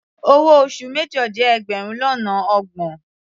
Owó oṣù major jẹ́ ẹgbẹrun lọ́nà ọgbọ̀n.